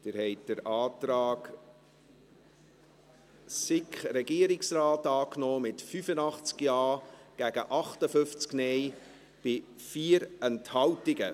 Sie haben den Antrag SiK / Regierungsrat angenommen, mit 85 Ja- gegen 58 Nein-Stimmen bei 4 Enthaltungen.